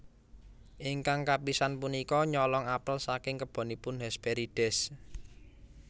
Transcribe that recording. Ingkang kapisan punika nyolong apel saking kebonipun Hesperides